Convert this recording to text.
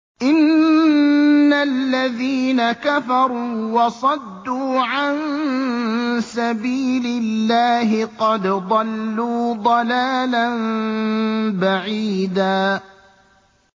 إِنَّ الَّذِينَ كَفَرُوا وَصَدُّوا عَن سَبِيلِ اللَّهِ قَدْ ضَلُّوا ضَلَالًا بَعِيدًا